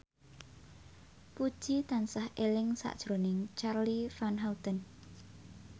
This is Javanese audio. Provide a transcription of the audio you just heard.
Puji tansah eling sakjroning Charly Van Houten